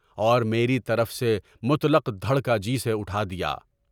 اور میری طرف سے مطلق ڈر کا جی سے اٹھا دیا۔